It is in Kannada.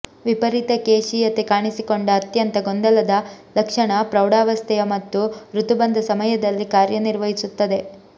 ವಿಪರೀತ ಕೇಶೀಯತೆ ಕಾಣಿಸಿಕೊಂಡ ಅತ್ಯಂತ ಗೊಂದಲದ ಲಕ್ಷಣ ಪ್ರೌಢಾವಸ್ಥೆಯ ಮತ್ತು ಋತುಬಂಧ ಸಮಯದಲ್ಲಿ ಕಾರ್ಯನಿರ್ವಹಿಸುತ್ತದೆ